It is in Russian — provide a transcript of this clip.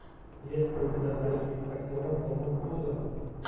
есть ли у тебя тачки с актером томом крузом